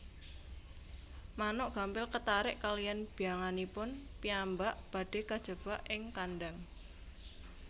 Manuk gampil ketarik kaliyan byanganipun piyambak badhe kajebak ing kandhang